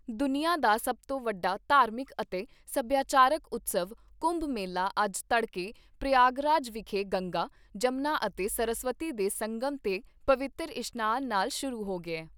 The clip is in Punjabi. ਦੁਨੀਆਂ ਦਾ ਸਭ ਤੋਂ ਵੱਡਾ ਧਾਰਮਿਕ ਅਤੇ ਸਭਿਆਚਾਰਕ ਉਤਸਵ, ਕੁੰਭ ਮੇਲਾ ਅੱਜ ਤੜਕੇ ਪ੍ਰਯਾਗਰਾਜ ਵਿਖੇ ਗੰਗਾ, ਜਮਨਾ ਅਤੇ ਸਰਸਵਤੀ ਦੇ ਸੰਗਮ 'ਤੇ ਪਵਿੱਤਰ ਇਸ਼ਨਾਨ ਨਾਲ ਸ਼ੁਰੂ ਹੋ ਗਿਆ ।